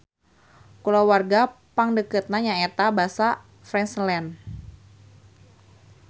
Kulawarga pangdeukeutna nyaeta basa Friesland.